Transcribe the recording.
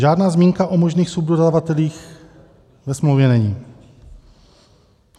Žádná zmínka o možných subdodavatelích ve smlouvě není.